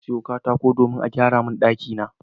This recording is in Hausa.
Na sayo katako domin a gyara min ɗakina.